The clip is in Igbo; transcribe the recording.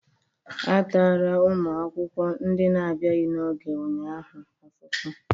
A tara ụmụ akwụkwọ ndị na-abịaghị n'oge ụnyaahụ afufu